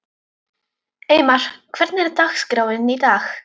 Eymar, hvernig er dagskráin í dag?